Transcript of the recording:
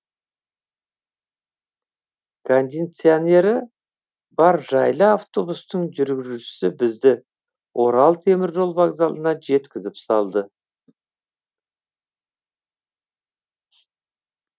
кондиционері бар жайлы автобустың жүргізушісі бізді орал теміржол вокзалына жеткізіп салды